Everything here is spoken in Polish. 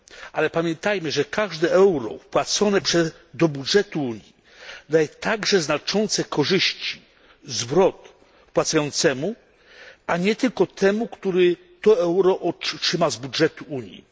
Ale pamiętajmy, że każde euro wpłacone do budżetu Unii daje także znaczące korzyści, zwrot wpłacającemu, a nie tylko temu, który to euro otrzyma z budżetu Unii.